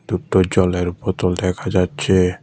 দুটো জলের বোতল দেখা যাচ্ছে।